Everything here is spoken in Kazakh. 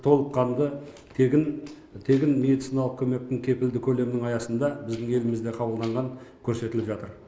толыққанды тегін медициналық көмектің кепілді көмегінің аясында біздің елімізде қабылданған көрсетіліп жатыр